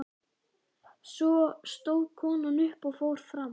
Svo stóð konan upp og fór fram.